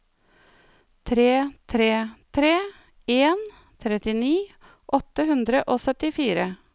tre tre tre en trettini åtte hundre og syttifire